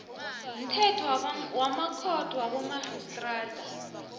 mthetho wamakhotho wabomarhistrada